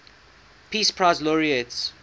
peace prize laureates